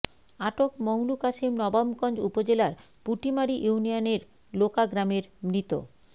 আটক মংলু কাশেম নবাবগঞ্জ উপজেলার পুটিমারী ইউনিয়নের লোকা গ্রামের মৃত